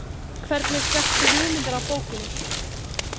Hvernig fékkstu hugmyndina af bókinni?